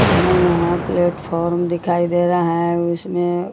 हमें यहाँ प्लेटफॉर्म दिखाई दे रहा है उसमे --